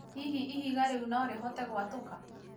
hihi ihiga rĩu norĩhote gwatũka